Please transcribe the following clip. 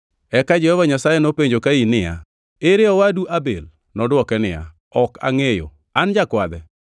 Eka Jehova Nyasaye nopenjo Kain niya, “Ere owadu Abel?” Nodwoke niya, “Ok angʼeyo. An jakwadhe?”